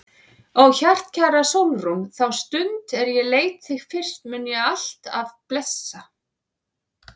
Ó hjartkæra Sólrún, þá stund er ég leit þig fyrst mun ég alt af blessa.